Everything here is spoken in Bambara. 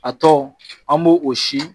A tɔ an b'o o si